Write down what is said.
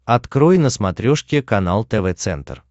открой на смотрешке канал тв центр